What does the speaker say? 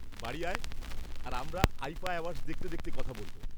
বাড়ি আয়, আর আমরা আইফা অ্যাওয়ার্ডস দেখতে দেখতে কথা বলব।